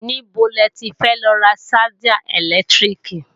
Níbo le ti fẹ́ lọ ra ṣájà ẹ̀lẹ́tíríkì?